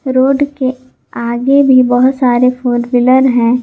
Road के आगे भी बहुत सारे फोर व्हीलर हैं।